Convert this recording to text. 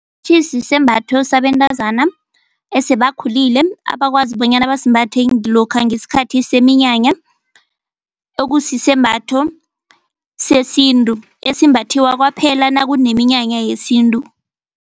Sisembatho sabentazana esebakhulile abakwazi bonyana basimbathe lokha ngesikhathi seminyanya okusisembatho sesintu esimbathiwa kwaphela nakuneminyanya yesintu.